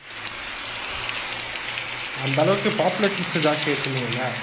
அந்த அளவுக்கு population ஜாஸ்தியாயிடுச்சு இல்லீங்கல